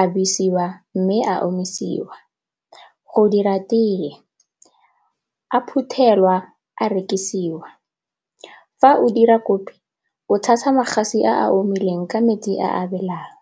a besiwa mme a omisiwa. Go dira tee, a phuthelwa a rekisiwa fa o dira kopi o tshasa magatse a a omileng ka metsi a a belang.